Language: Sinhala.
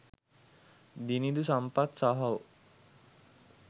දිනිඳු සම්පත් සහෝ.